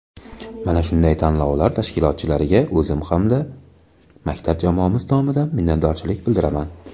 Mana shunday tanlovlar tashkilotchilariga o‘zim hamda maktab jamoamiz nomidan minnatdorchilik bildiraman.